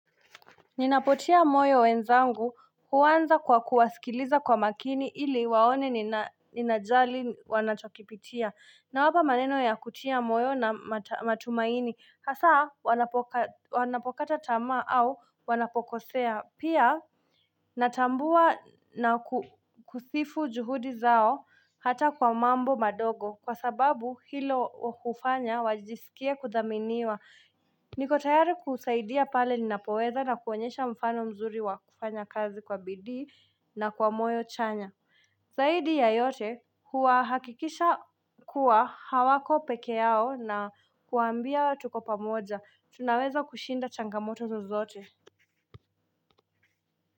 Ninapotia moyo wenzangu huanza kwa kuwasikiliza kwa makini ili waone nina ninajali wanachokipitia na wapa maneno ya kutia moyo na matumaini hasa wanapokata tamaa au wanapokosea pia natambua na kusifu juhudi zao hata kwa mambo madogo kwa sababu hilo wakufanya wajisikia kudhaminiwa niko tayari kusaidia pale ninapoweza na kuonyesha mfano mzuri wa kufanya kazi kwa bidii na kwa moyo chanya zaidi ya yote huwa hakikisha kuwa hawako peke yao na kuwaambia tuko pamoja tunaweza kushinda changamoto zozote.